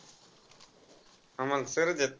आम्हाला sir च आहेत.